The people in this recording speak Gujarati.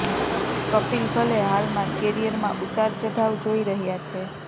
કપિલ ભલે હાલમાં કેરિયરમાં ઉતાર ચઢાવ જોઈ રહ્યા છે